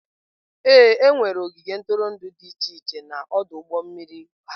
Ee, enwere ogige ntụrụndụ dị iche iche na ọdụ ụgbọ mmiri Harcourt.